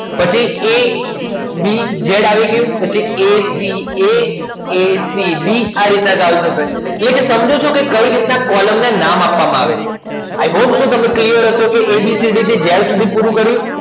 પછી abz આવી ગયું પછી aca abc એટલે કૅ સમજો છો કૅ કય રીત કૉલમના નામ આપવા માં આવે છે